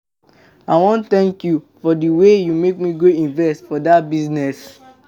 I wan thank you for the way you make me go invest for dat business.